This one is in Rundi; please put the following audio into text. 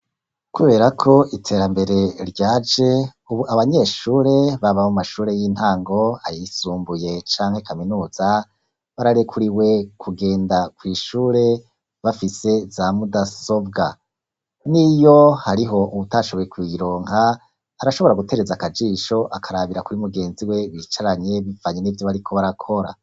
Kubera ko iterambere ryaje ,ubu abanyeshure baba mu mashure y'intango ayisumbuye canke kaminuza bararekuriwe kugenda ku ishure bafise za mudasobwa niyo hariho utashoboye kuyironka harashobora gutereza akajisho akarabira kuri mugenzi we bicaranye bivanye n'ivyo bariko barakora.